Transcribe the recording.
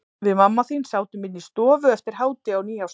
Við mamma þín sátum inni í stofu eftir hádegi á nýársdag.